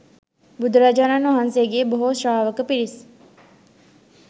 බුදුරජාණන් වහන්සේගේ බොහෝ ශ්‍රාවක පිරිස්